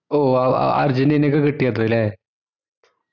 ഓഹ് wow ആഹ് അർജന്റീനക്ക കിട്ടിയത് അല്ലെ